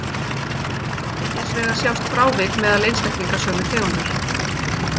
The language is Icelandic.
Hins vegar sjást frávik meðal einstaklinga sömu tegundar.